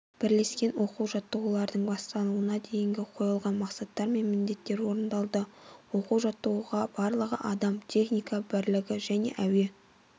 бірлескен оқу-жаттығулардың басталуына дейін қойылған мақсаттар мен міндеттер орындалды оқу-жаттығуға барлығы адам техника бірлігі және әуе